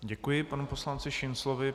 Děkuji panu poslanci Šinclovi.